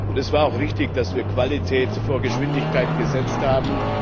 Und es war auch richtig, dass wir Qualität vor Geschwindigkeit gesetzt haben.